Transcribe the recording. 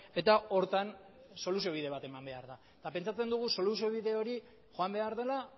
eta horretan soluzio bide bat eman behar da eta pentsatzen dugu soluziobide hori joan behar dela